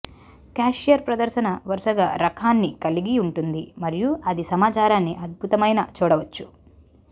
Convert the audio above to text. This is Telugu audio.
క్యాషియర్ ప్రదర్శన వరుసగా రకాన్ని కలిగి ఉంటుంది మరియు అది సమాచారాన్ని అద్భుతమైన చూడవచ్చు